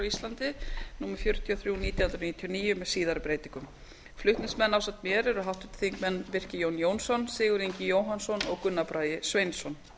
íslandi númer fjörutíu og þrjú nítján hundruð níutíu og níu með síðari breytingum flutningsmenn ásamt mér eru háttvirtir þingmenn birkir jón jónsson sigurður ingi jóhannsson og gunnar bragi sveinsson